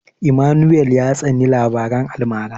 Emmanuel ya tsani labaran almara.